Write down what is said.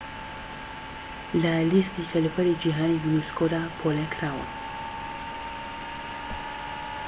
لە لیستی کەلەپوری جیھانی یونسكۆدا پۆلینکراون